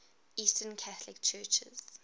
eastern catholic churches